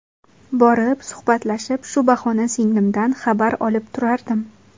Borib, suhbatlashib, shu bahona singlimdan xabar olib turardim.